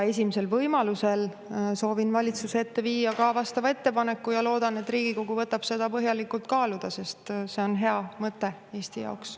Esimesel võimalusel soovin valitsuse ette viia ka vastava ettepaneku ja loodan, et Riigikogu võtab seda põhjalikult kaaluda, sest see on hea mõte Eesti jaoks.